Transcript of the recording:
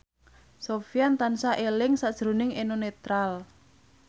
Sofyan tansah eling sakjroning Eno Netral